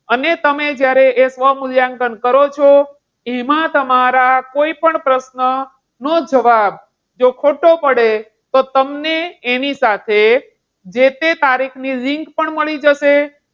અને તમે જ્યારે એ સ્વમૂલ્યાંકન કરો છો. એમાં તમારા કોઈપણ પ્રશ્નનો જવાબ જો ખોટો પડે, તો તમને એની સાથે જે તે તારીખ ની link પણ મળી જશે.